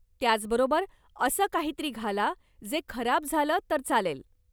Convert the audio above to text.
त्याचबरोबर, असं काहीतरी घाला जे खराब झालं तर चालेल.